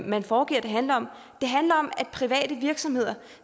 man foregiver det handler om det handler om at private virksomheder